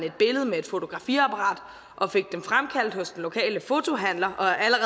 et billede med et fotografiapparat og fik dem fremkaldt hos den lokale fotohandler